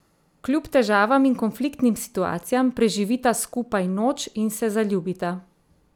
Kljub težavam in konfliktnim situacijam preživita skupaj noč in se zaljubita.